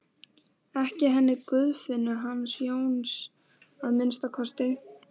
Ekki henni Guðfinnu hans Jóns að minnsta kosti.